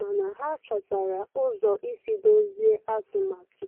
mana ha chọtara ụzọ isi dọzie atụmatụ.